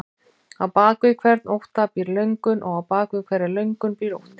Á bak við hvern ótta býr löngun og á bak við hverja löngun býr ótti.